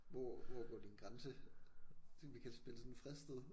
Hvor hvor går din grænse tænkte vi kan spille sådan fristet